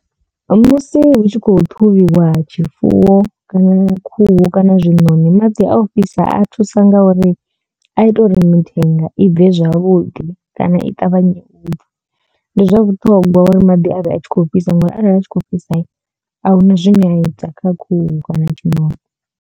Musi hu tshi khou ṱhuvhiwa tshifuwo kana khuhu kana zwiṋoni maḓi a u fhisa a thusa nga uri a ita uri mithenga i bve zwavhuḓi kana i ṱavhanye u bva ndi zwa vhuṱhongwa uri maḓi a vhe a tshi kho fhisa ngori arali a tshi kho fhisa ahuna zwine a ita kha khuhu kana tshiṋoni.